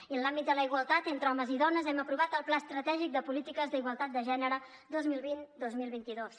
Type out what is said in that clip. i en l’àmbit de la igualtat entre homes i dones hem aprovat el pla estratègic de polítiques d’igualtat de gènere vint milions dos cents i dos mil vint dos